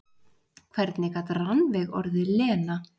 Hvernig gat Rannveig orðið Lena?